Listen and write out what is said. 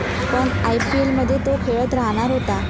पण आयपीएलमध्ये तो खेळत राहणार होता.